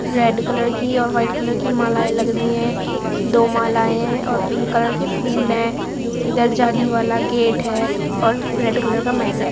Red colour की और white colour की मालाये लग रही है दो मालाये है और पिक कलर की फूल है इधर जाली वाला गेट है और रेड कलर का मेट है।